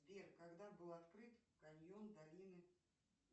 сбер когда был открыт каньон долины